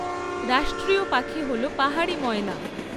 রাষ্ট্রীয় পাখি হল পাহাড়ি ময়না।